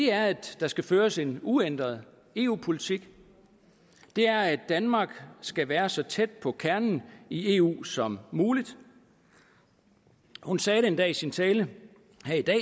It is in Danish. er at der skal føres en uændret eu politik det er at danmark skal være så tæt på kernen i eu som muligt hun sagde endda i sin tale